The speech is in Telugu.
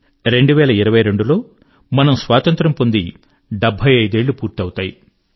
రెండు వేల ఇరవై రెండు 2022 లో మన స్వాతంత్ర్యం పొంది 75 ఏళ్ళు పూర్తవుతాయి